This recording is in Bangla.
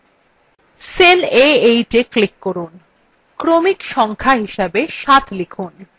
cell a8we click করুন এবং ক্রমিক সংখ্যা হিসাবে ৭ লিখুন